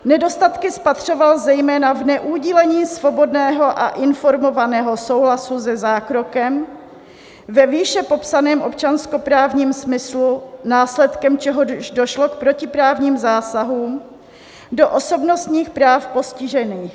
Nedostatky spatřoval zejména v neudělení svobodného a informovaného souhlasu se zákrokem ve výše popsaném občanskoprávním smyslu, následkem čehož došlo k protiprávním zásahům do osobnostních práv postižených.